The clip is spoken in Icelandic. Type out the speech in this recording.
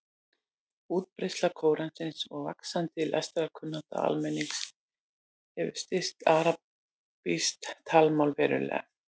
Útbreiðsla Kóransins og vaxandi lestrarkunnátta almennings hefur styrkt arabískt talmál verulega.